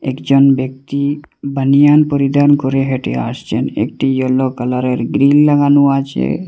একজন ব্যক্তি বানিয়ান পরিধান করে হেঁটে আসছেন একটি ইয়েলো কালারের গ্রীল লাগানো আছে।